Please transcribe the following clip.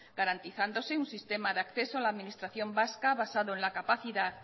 garantizándose un sistema de acceso a la administración vasca basado en la capacidad